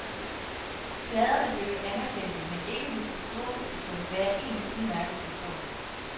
Pladerne blev jo anerkendte, men ikke hos det store publikum, hvad jeg egentlig udmærket forstår.